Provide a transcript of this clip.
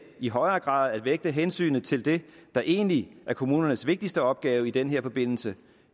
i højere grad at vægte hensynet til det der egentlig er kommunernes vigtigste opgave i den her forbindelse